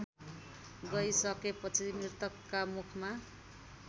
गइसकेपछि मृतकका मुखमा